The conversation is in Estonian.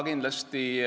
Ei.